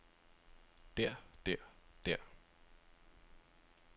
der der der